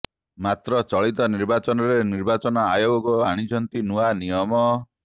ମାତ୍ର ଚଳିତ ନିର୍ବାଚନରେ ନିର୍ବାଚନ ଆୟୋଗ ଆଣିଛନ୍ତି ନୂଆ ନିୟମ